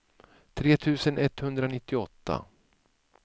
tre tusen etthundranittioåtta